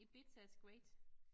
Ibiza is great